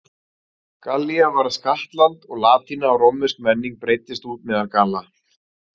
Gallía varð skattland og latína og rómversk menning breiddist út meðal Galla.